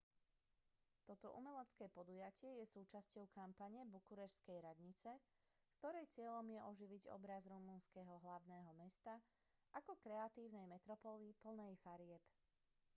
toto umelecké podujatie je súčasťou kampane bukureštskej radnice ktorej cieľom je oživiť obraz rumunského hlavného mesta ako kreatívnej metropoly plnej farieb